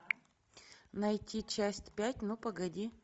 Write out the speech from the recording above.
найти часть пять ну погоди